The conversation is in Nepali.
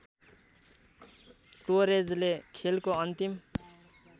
टोरेजले खेलको अन्तिम